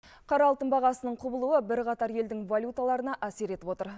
қара алтын бағасының құбылуы бірқатар елдің валюталарына әсер етіп отыр